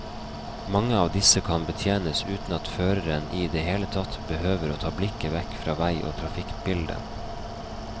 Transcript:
Mange av disse kan betjenes uten at føreren i det hele tatt behøver å ta blikket vekk fra vei og trafikkbilde.